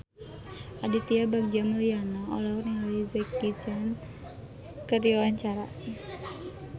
Aditya Bagja Mulyana olohok ningali Jackie Chan keur diwawancara